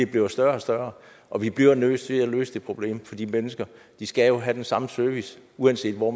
bliver større og større og vi bliver nødt til at løse det problem for de mennesker skal jo have den samme service uanset hvor